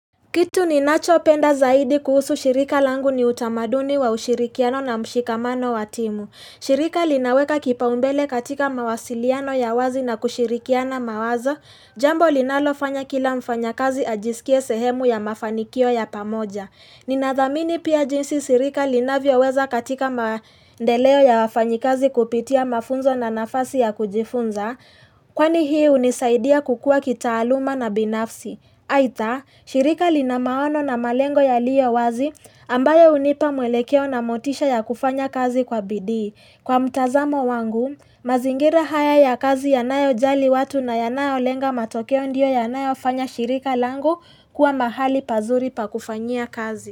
Kitu ninachopenda zaidi kuhusu shirika langu ni utamaduni wa ushirikiano na mshikamano watimu. Shirika linaweka kipaumbele katika mawasiliano ya wazi na kushirikiana mawazo. Jambo linalofanya kila mfanyakazi ajisikie sehemu ya mafanikio ya pamoja. Ninathamini pia jinsi sirika linavyoweza katika maendeleo ya wafanyikazi kupitia mafunzo na nafasi ya kujifunza. Kwani hii unisaidia kukua kitaaluma na binafsi. Aidha, shirika linamaono na malengo yaliyo wazi ambayo hunipa mwelekeo na motisha ya kufanya kazi kwa bidii. Kwa mtazamo wangu, mazingira haya ya kazi yanayojali watu na yanayolenga matokeo ndio yanayofanya shirika langu kuwa mahali pazuri pakufanyia kazi.